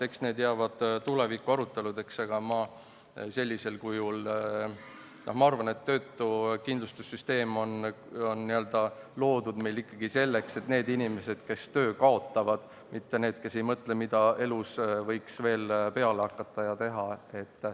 Eks see jääb tuleviku aruteludeks, aga praegusel kujul on meie töötukindlustussüsteem loodud ikkagi selleks, et toetust saaksid need inimesed, kes töö kaotavad, mitte need, kes alles mõtlevad, mida elus võiks veel peale hakata ja teha.